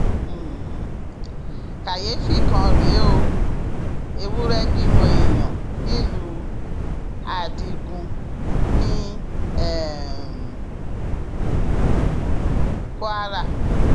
um káyééfì kan rèé o ewúrẹ bímọ èèyàn nílùú adigun ní um kwara